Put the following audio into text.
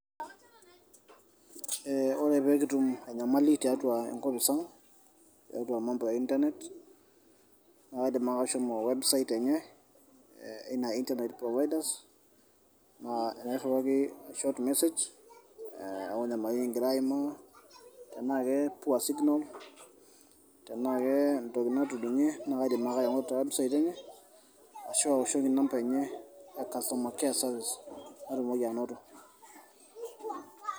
Ee ore pee kitum enyamali tiatua enkopis ang' tiatua emampo eintanet naa kaidim ake ashomo websait enye Ina intanet profaidas aa nairriwaki shot message aa oonyamalitin nikigira aimaa tenaa ke poor signals tenaa kentoki natudung'e naa kaidim ake aing'oru te website enye ashu awoshoki inampa enye e customer care service naatumoki anoto.